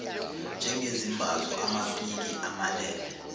njengezimbazo amapiki amalele